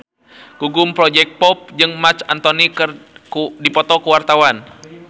Gugum Project Pop jeung Marc Anthony keur dipoto ku wartawan